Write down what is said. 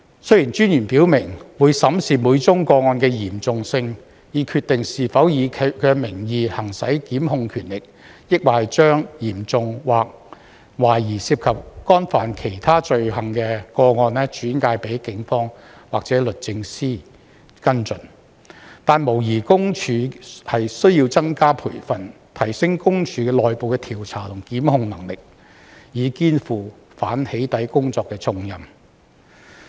雖然私隱專員表明會審視每宗個案的嚴重性，以決定是否以其名義行使檢控權力，抑或將較嚴重或懷疑涉及干犯其他罪行的個案轉介給警方或律政司跟進，但無疑私隱公署須要增加培訓，提升私隱公署內部的調查和檢控能力，以肩負反"起底"工作的重任。